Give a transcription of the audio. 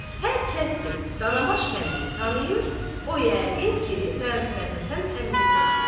Hər kəs ki Danabaş kəndini tanıyır, o yəqin ki, Məhəmmədhəsən əmini də tanıyır.